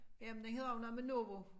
Jamen det hedder jo noget med novo